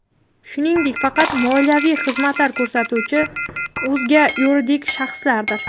shuningdek faqat moliyaviy xizmatlar ko‘rsatuvchi o‘zga yuridik shaxslardir.